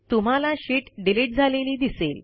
तुम्हाला sheet delete झालेली दिसेल